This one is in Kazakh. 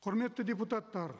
құрметті депутаттар